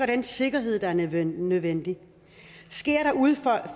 den sikkerhed der er nødvendig nødvendig sker der udfald